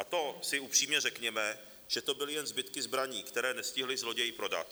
A to si upřímně řekněme, že to byly jen zbytky zbraní, které nestihli zloději prodat.